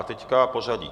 A teď pořadí.